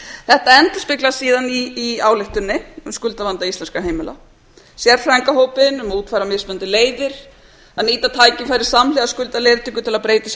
þetta endurspeglast síðan í ályktuninni um skuldavanda íslenskra heimila sérfræðingahópinn um að útfæra mismunandi leiðir að nýta tækifæri samhliða skuldaleiðréttingu til að breyta sem